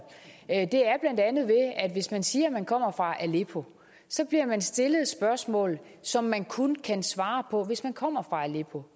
at hvis man siger at man kommer fra aleppo bliver man stillet et spørgsmål som man kun kan svare på hvis man kommer fra aleppo